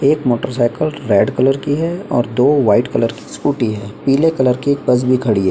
एक motorcycle red colour की है और दो वाइट कलर की स्कूटी है पीले कलर की एक बस भी खड़ी है।